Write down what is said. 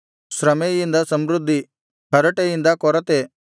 ಶ್ರಮೆಯಿಂದ ಸಮೃದ್ಧಿ ಹರಟೆಯಿಂದ ಕೊರತೆ